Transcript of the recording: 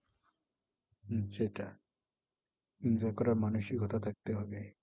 হম সেটাই enjoy করার মানসিকতা থাকতে হবে।